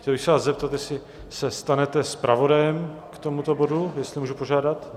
Chtěl bych se vás zeptat, jestli se stanete zpravodajem k tomuto bodu, jestli můžu požádat.